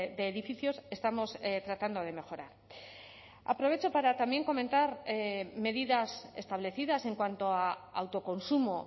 de edificios estamos tratando de mejorar aprovecho para también comentar medidas establecidas en cuanto a autoconsumo